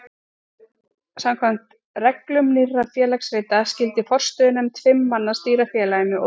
Samkvæmt reglum Nýrra félagsrita skyldi forstöðunefnd fimm manna stýra félaginu og ritum þess.